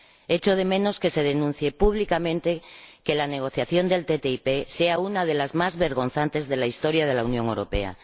Echo de menos que se denuncie públicamente que la negociación del ATCI sea una de las más vergonzantes de la historia de la Unión Europea.